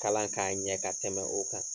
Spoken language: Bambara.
Kalan k'a ɲɛ ka tɛmɛ o kan